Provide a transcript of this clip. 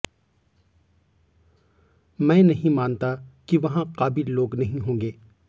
मैं नहीं मानता कि वहां काबिल लोग नहीं होंगे